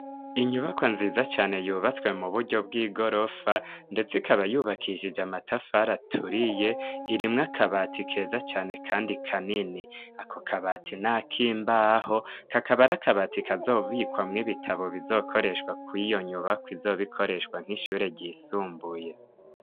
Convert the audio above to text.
Inyubako nziza cane yubatswe mu buryo bw'igorofa ndetse ikaba yubakishije amatafari aturiye irimwo akabati keza cane kandi kanini, ako kabati nakimbaho kakaba ari akabati kazobikwamwo ibitabo bizokoreshwa kwiyo nyubako izoba ikoreshwa nk'ishure ryisumbuye.